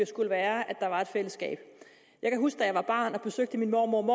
skulle være at der var et fællesskab jeg kan huske da jeg var barn og besøgte min mormor og